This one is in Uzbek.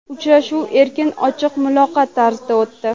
Uchrashuv erkin, ochiq muloqot tarzida o‘tdi.